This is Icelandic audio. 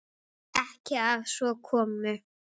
Ekki að svo komnu.